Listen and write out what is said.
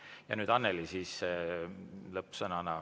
Ja nüüd Annely, lõppsõna.